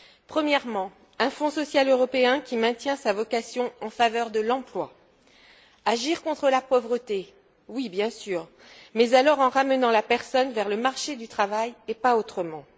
Premièrement, un Fonds social européen qui maintient sa vocation en faveur de l'emploi. Agir contre la pauvreté, oui bien sûr, mais alors en ramenant la personne vers le marché du travail et pas autrement.